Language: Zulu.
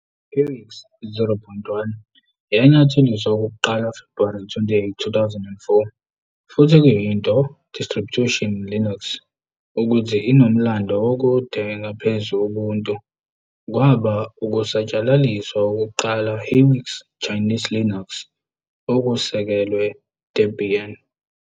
Hiwix 0.1 yanyatheliswa okokuqala February 28, 2004 futhi kuyinto distribution Linux ukuthi inomlando okude ngaphezu Ubuntu. kwaba ukusatshalaliswa wokuqala Hiwix Chinese Linux okusekelwe Debian.